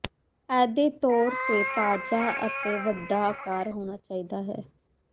ਇਹ ਦੇ ਤੌਰ ਤੇ ਤਾਜ਼ਾ ਅਤੇ ਵੱਡਾ ਹੋਣਾ ਚਾਹੀਦਾ ਹੈ